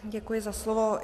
Děkuji za slovo.